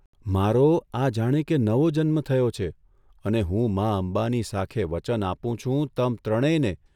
મારો આ જાણે કે નવો જન્મ થયો છે અને હું મા અંબાની સાખે વચન આપું છું તમ ત્રણેયને